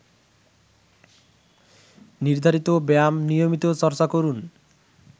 নির্ধারিত ব্যায়াম নিয়মিত চর্চা করুন